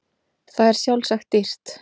Það er sjálfsagt dýrt.